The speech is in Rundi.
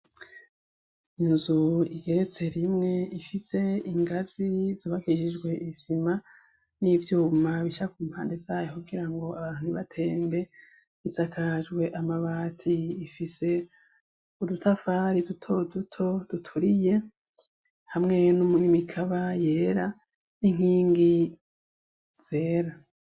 Inzu igeretse rimwe ifise ingazi zubakishijwe isima n'ivyuma bisha ku mpande zayo kugira ngo abantu ibatembe isakajwe amabati ifise udutafari dutoduto duturiye hamweyo n'umunimikaba yera inkingi zera.